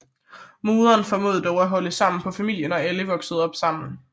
Moderen formåede dog at holde sammen på familien og alle voksede op sammen